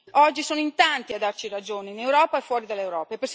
Oggi sono in tanti a darci ragione in Europa e fuori dall'Europa.